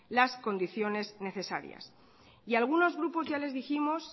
las condiciones necesarias y a algunos grupos ya les dijimos